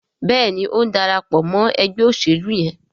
Béèni o ń darapọ̀ mọ ègbé òṣèlú yén.